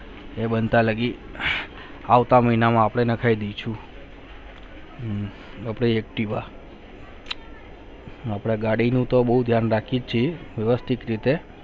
એ બનતા લાગી અપને મહિનામાં કહી દી છું હમ અપને એકટીવા અપને ગાડી ને તો બહુ ધ્યાન રાખી છે